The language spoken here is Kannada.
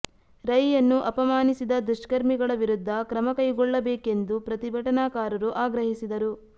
ರೈ ಯನ್ನು ಅಪಮಾನಿಸಿದ ದುಷ್ಕರ್ಮಿಗಳ ವಿರುದ್ಧ ಕ್ರಮ ಕೈಗೊಳ್ಳಬೇಕೆಂದು ಪ್ರತಿಭಟನಾಕಾರರು ಆಗ್ರಹಿಸಿದರು